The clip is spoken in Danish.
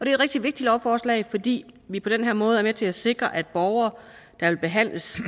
et rigtig vigtigt lovforslag fordi vi på den her måde er med til at sikre at borgere der vil behandles